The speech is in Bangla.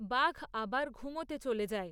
বাঘ আবার ঘুমোতে চলে যায়।